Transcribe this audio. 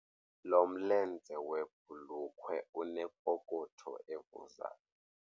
Lo mlenze webhulukhwe unepokotho evuzayo.